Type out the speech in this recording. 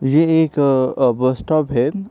ये एक अ बस स्टॉप है।